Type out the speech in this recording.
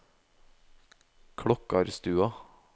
Klokkarstua